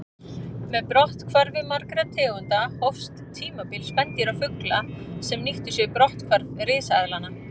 Með brotthvarfi margra tegunda hófst tímabil spendýra og fugla sem nýttu sér brotthvarf risaeðlanna.